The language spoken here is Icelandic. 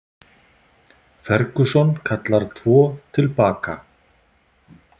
Ferguson kallar tvo til baka